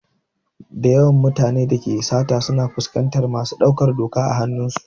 Dayawan mutane da suke sata suna fuskantar masu ɗaukar doka a hanun su.